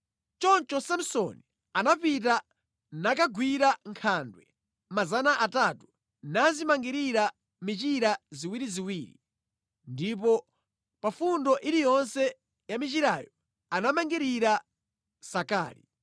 Choncho Samsoni anapita nakagwira nkhandwe 300 nazimangirira michira ziwiriziwiri ndipo pa fundo iliyonse ya michirayo anamangirira nsakali.